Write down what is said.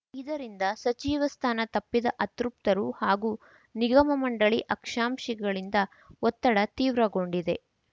ಇದರಿಂದ ಸಚಿವ ಸ್ಥಾನ ತಪ್ಪಿದ ಅತೃಪ್ತರು ಹಾಗೂ ನಿಗಮ ಮಂಡಳಿ ಆಕ್ಷಾಂಶೀಗಳಿಂದ ಒತ್ತಡ ತೀವ್ರಗೊಂಡಿದೆ